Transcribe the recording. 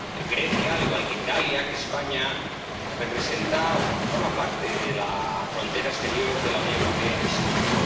Grecia —al igual que Italia, que España— representa, forma parte de la frontera exterior de la Unión Europea y de Schengen.